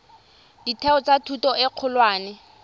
ditheo tsa thuto e kgolwane